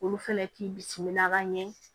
Olu fɛnɛ k'i bisimila ka ɲɛ